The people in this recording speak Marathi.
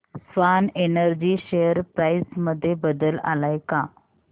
स्वान एनर्जी शेअर प्राइस मध्ये बदल आलाय का